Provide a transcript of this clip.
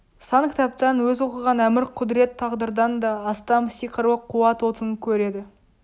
сан кітаптан өз оқыған әмір-құдірет тағдырдан да астам сиқырлы қуат отын көреді